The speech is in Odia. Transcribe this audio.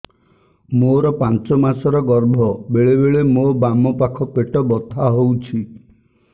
ମୋର ପାଞ୍ଚ ମାସ ର ଗର୍ଭ ବେଳେ ବେଳେ ମୋ ବାମ ପାଖ ପେଟ ବଥା ହଉଛି